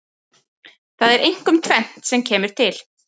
Það er einkum tvennt sem kemur til.